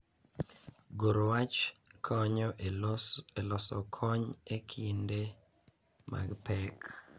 Goro wach konyo e loso kony e kinde mag pek